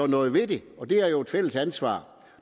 noget ved det er jo et fælles ansvar